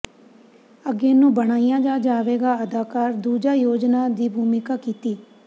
ਅੱਗੇ ਨੂੰ ਬਣਾਇਆ ਜਾ ਜਾਵੇਗਾ ਅਦਾਕਾਰ ਦੂਜਾ ਯੋਜਨਾ ਦੀ ਭੂਮਿਕਾ ਕੀਤੀ